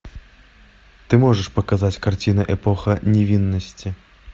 ты можешь показать картины эпоха невинности